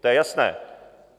To je jasné.